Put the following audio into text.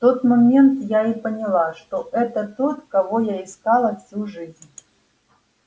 в тот момент я и поняла что это тот кого я искала всю жизнь